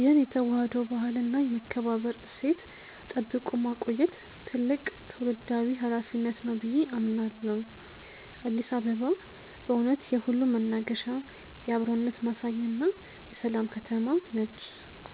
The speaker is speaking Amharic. ይህን የተዋህዶ ባህልና የመከባበር እሴት ጠብቆ ማቆየት ትልቅ ትውልዳዊ ኃላፊነት ነው ብዬ አምናለሁ። አዲስ አበባ በእውነት የሁሉም መናገሻ፣ የአብሮነት ማሳያና የሰላም ከተማ ነች።